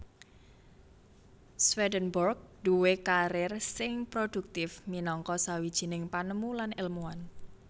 Swedenborg duwé karer sing prodhuktif minangka sawijining panemu lan èlmuwan